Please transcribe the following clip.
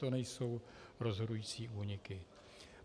To nejsou rozhodující úniky.